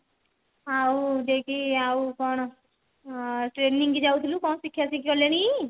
ଆଉ ଯେ କି ଆଉ କଣ ଆଁ training କୁ ଯାଉଥିଲୁ କଣ ଶିଖାଶିଖି କଲେଣି